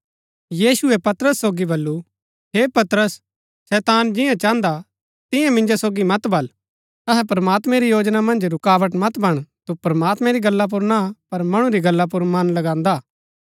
यीशुऐ पतरस सोगी बल्लू हे पतरस शैतान जियां चाहन्दा तियां मिन्जो सोगी मत बल्ल अतै प्रमात्मैं री योजना मन्ज रूकावट मत बण तु प्रमात्मैं री गल्ला पुर ना पर मणु री गल्ला पुर मन लगांदा हा